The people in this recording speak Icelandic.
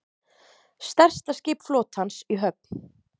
Stærsta skip flotans í höfn